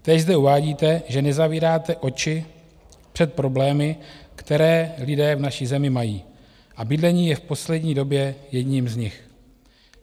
Též zde uvádíte, že nezavíráte oči před problémy, které lidé v naší zemi mají, a bydlení je v poslední době jedním z nich.